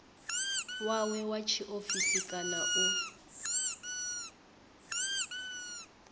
wawe wa tshiofisi kana u